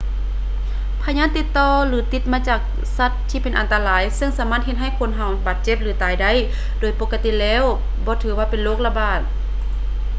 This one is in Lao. ພະຍາດຕິດຕໍ່ ຫຼື ຕິດມາຈາກສັດທີ່ເປັນອັນຕະລາຍ ຊຶ່ງສາມາດເຮັດໃຫ້ຄົນບາດເຈັບ ຫຼື ຕາຍໄດ້ ໂດຍປົກກະຕິແລ້ວບໍ່ຖືວ່າເປັນໂລກລະບາດ